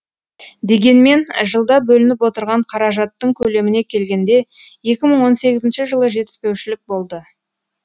дегенмен жылда бөлініп отырған қаражаттың көлеміне келгенде екі мың он сегізінші жылы жетіспеушілік болды